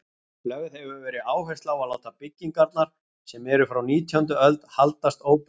Lögð hefur verið áhersla á að láta byggingarnar, sem eru frá nítjándu öld, haldast óbreyttar.